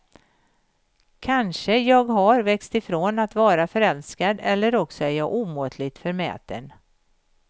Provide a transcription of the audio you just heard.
Kanske jag har växt ifrån att vara förälskad eller också är jag omåttligt förmäten.